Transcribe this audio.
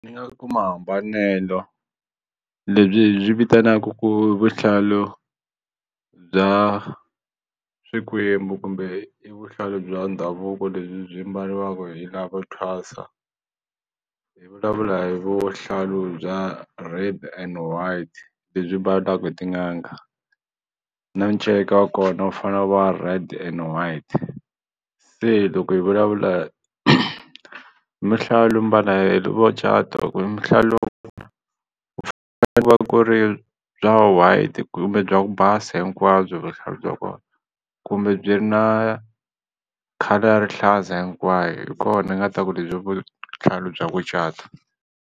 Ndzi nga ku mahambanelo lebyi hi byi vitanaka ku i vuhlalu bya swikwembu kumbe i vuhlalu bya ndhavuko lebyi byi mbariwaka hi lavo thwasa hi vulavula hi vuhlalu bya Red and White lebyi mbalaka hi tin'anga na nceka wa kona wu fane wu va red and white se loko hi vulavula mbala hi lavo cata mihlalu ku ri bya White kumbe bya ku basa hinkwabyo vuhlalu bya kumbe byi ri na colour ya rihlaza hinkwayo hi kona ni nga ta ku lebyi i vuhlalu bya ku cata.